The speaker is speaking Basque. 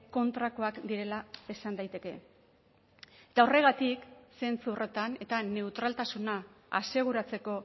kontrakoak direla esan daiteke eta horregatik zentzu horretan eta neutraltasuna aseguratzeko